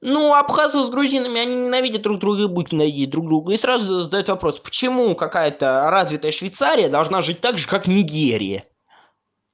ну абхазы с грузинами они ненавидят друг друга и будут ненавидеть друг друга и сразу задать вопрос почему какая-то развитая швейцария должна жить так же как нигерия